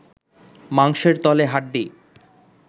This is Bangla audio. মাংসের তলে হাড্ডি